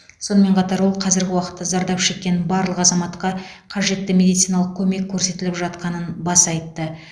сонымен қатар ол қазіргі уақытта зардап шеккен барлық азаматқа қажетті медициналық көмек көрсетіліп жатқанын баса айтты